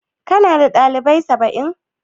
Ka na da dalibai 700?